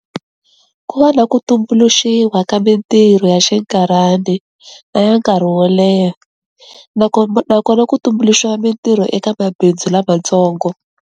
Ku va na ku tumbuluxiwa ka mintirho ya xinkarhana na ya nkarhi wo leha nakona ku tumbuluxiwa mintirho eka mabindzu lamatsongo.